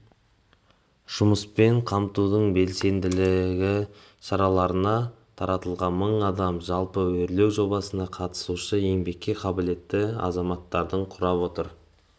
жұмыспен қамтудың белсенді шараларына тартылған мың адам жалпы өрлеу жобасына қатысушы еңбекке қабілетті азаматтардың құрап отыр